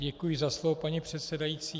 Děkuji za slovo, paní předsedající.